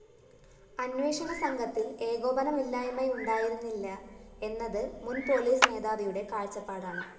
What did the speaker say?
അന്വേഷണസംഘത്തില്‍ ഏകോപനമില്ലായ്മയുണ്ടായിരുന്നില്ല എന്നത് മുന്‍ പോലീസ് മേധാവിയുടെ കാഴ്ചപ്പാടാണ്